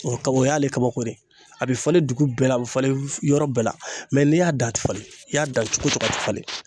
O kaba o y'ale kabako de ye a be falen dugu bɛɛ la a be falen yɔrɔ bɛɛ la mɛ n'i y'a dan a ti falen n' i y'a dan cogo cogo a ti falen